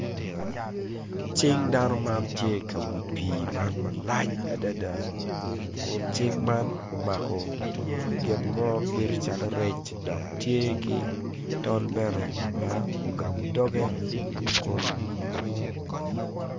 Cing dano man tye i ka wi pii malac adada kun cing man omako gin mo bedo calo rec dok tye ki tol bene ma ogabo dogge kun